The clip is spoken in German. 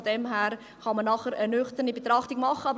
Von daher kann man nachher eine nüchterne Betrachtung machen.